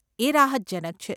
એ રાહતજનક છે.